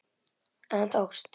En það tókst.